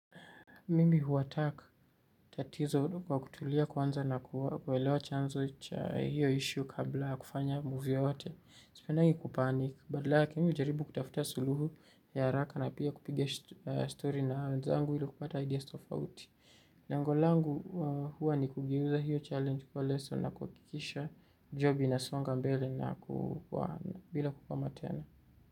Mimi huattack tatizo kwa kutulia kwanza na kuelewa chanzo cha hiyo issue kabla ya kufanya move yoyote. Sipendangi kupanik, badala yake mimi hujaribu kutafuta suluhu ya haraka na pia kupiga story na wenzangu ili kupata ideas tofauti. Lengo langu huwa ni kugeuza hiyo challenge kwa leso na kuhakikisha job inasonga mbele na kuwana bila kukwama tena.